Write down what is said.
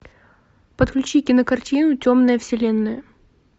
подключи кинокартину темная вселенная